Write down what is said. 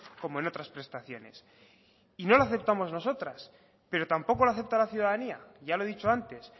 como en otras prestaciones y no lo aceptamos nosotras pero tampoco lo acepta la ciudadanía ya lo he dicho antes